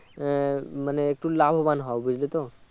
আহ মানে একটু লাভবান হয় বুঝলেতো